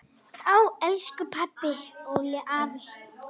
Elsku pabbi, Olli, afi.